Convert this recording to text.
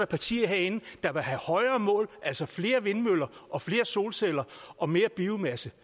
partier herinde der vil have højere mål altså flere vindmøller og flere solceller og mere biomasse